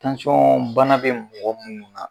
bana bɛ mɔgɔ minnu na